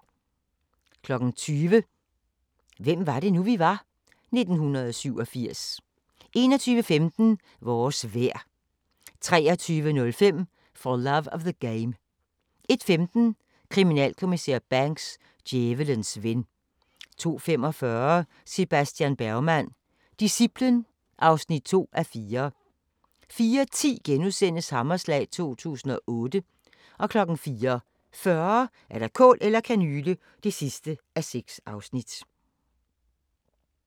20:00: Hvem var det nu, vi var? - 1987 21:15: Vores vejr 23:05: For Love of the Game 01:15: Kriminalinspektør Banks: Djævelens ven 02:45: Sebastian Bergman: Disciplen (2:4) 04:10: Hammerslag 2008 * 04:40: Kål eller kanyle (6:6)